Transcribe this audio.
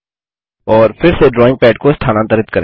और फिर से ड्राइंग पद को स्थानांतरित करें